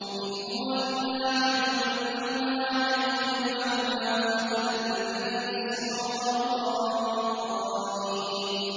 إِنْ هُوَ إِلَّا عَبْدٌ أَنْعَمْنَا عَلَيْهِ وَجَعَلْنَاهُ مَثَلًا لِّبَنِي إِسْرَائِيلَ